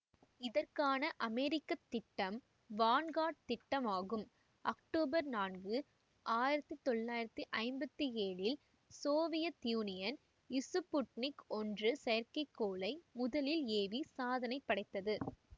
இதற்கான அமெரிக்க திட்டம் வான்கார்ட் திட்டம் ஆகும் அக்டோபர் நான்கு ஆயிரத்தி தொள்ளாயிரத்தி ஐம்பத்தி ஏழில் சோவியத் யூனியன் இசுப்புட்னிக் ஒன்று செயற்கைக்கோளை முதலில் ஏவி சாதனை படைத்தது